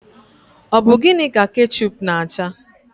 Ọ bụ gịnị ka kechup na acha?